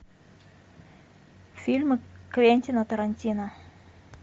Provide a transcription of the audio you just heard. фильмы квентина тарантино